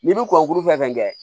N'i bɛ ko kuru fɛn fɛn kɛ